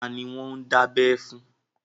Ta ni wọ́n ń dábẹ́ fún?